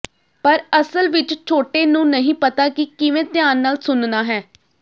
ਪਰ ਅਸਲ ਵਿੱਚ ਛੋਟੇ ਨੂੰ ਨਹੀਂ ਪਤਾ ਕਿ ਕਿਵੇਂ ਧਿਆਨ ਨਾਲ ਸੁਣਨਾ ਹੈ